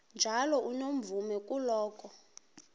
njalo unomvume kuloko